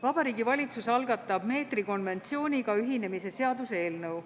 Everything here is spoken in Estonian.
Vabariigi Valitsus algatab meetrikonventsiooniga ühinemise seaduse eelnõu.